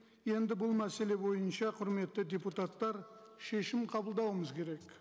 енді бұл мәселе бойынша құрметті депутаттар шешім қабылдауымыз керек